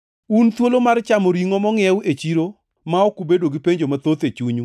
Un thuolo mar chamo ringʼo mongʼiew e chiro ma ok ubedo gi penjo mathoth e chunyu